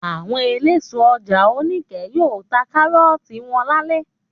Àwọn eléso ọjà Oníkẹ̀ẹ́ yóò ta kárọ́tì wo lálẹ́.